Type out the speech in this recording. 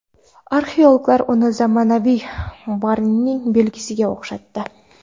Arxeologlar uni zamonaviy barning belgisiga o‘xshatdi.